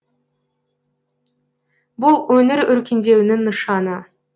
бұл өңір өркендеуінің нышаны